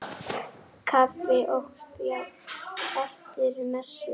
Kaffi og spjall eftir messu.